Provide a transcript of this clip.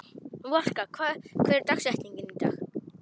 Valka, hver er dagsetningin í dag?